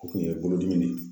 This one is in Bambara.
O kun ye bolodimi de ye